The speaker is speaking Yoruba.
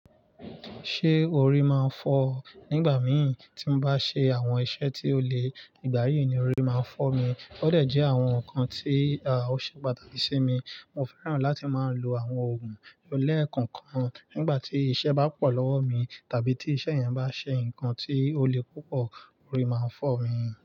Ṣé orí máa ń fọ́ ọ? Nígbà mì tímo bá ṣe àwọn iṣẹ́ tí ó le ìgbà yí ni, orí máa ń fọ́ mi. Ó dẹ̀ jẹ́ àwọn ǹkan tí a ò ṣe pàtàkì sí mi. Mo fẹ́ràn láti máa lo àwọn ògùn leekokan nígbà tí iṣẹ́ bá pọ̀ lọ́wọ́ mi tàbí tí iṣẹ́ yan bá ṣe nkan tí ó le púpọ̀, orí máa ń fọ́ mi.